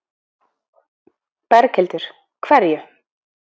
Berghildur: Hverju?